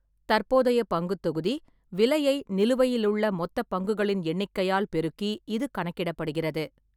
தற்போதைய பங்குத் தொகுதி விலையை நிலுவையிலுள்ள மொத்தப் பங்குகளின் எண்ணிக்கையால் பெருக்கி இது கணக்கிடப்படுகிறது.